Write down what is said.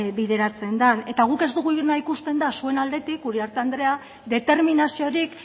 bideratzen den eta guk ez duguna ikusten da zuen aldetik uriarte andrea determinaziorik